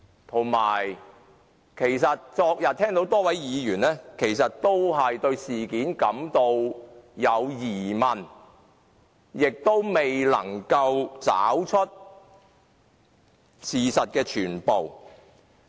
此外，昨天聽到多位議員皆對事件感到有疑問，亦未能知悉事實的全部。